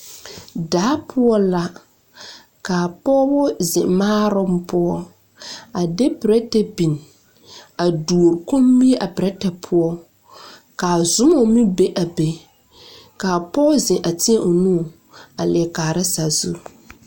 Daa poɔ la ka pɔgeba zeŋ maaroŋ poɔ a de pɛrɛtɛ biŋ a duori kommie pɛrɛtɛ poɔ ka a zɔma meŋ be a be ka a pɔge zeŋ a teɛ o nu a leɛ kaara sazu.